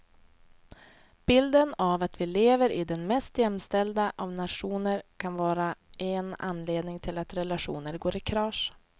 Bilden av att vi lever i den mest jämställda av nationer kan vara en anledning till att relationer går i kras.